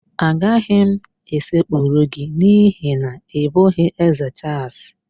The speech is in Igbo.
Agaghị m esekpuru gị n'ihi na ị bụghị Ézē Chaals